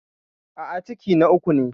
A'a, ciki na uku ne.